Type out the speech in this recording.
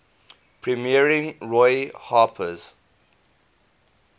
premiering roy harper's